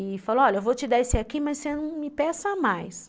E falou, olha, eu vou te dar esse aqui, mas você não me peça mais.